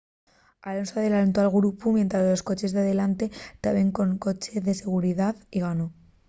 alonso adelantó al grupu mientres los coches de delantre taben con coche de seguridá y ganó